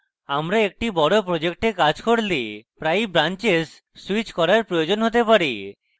আমরা একটি বড় project কাজ করলে প্রায়ই branches স্যুইচ করার প্রয়োজন হতে পারে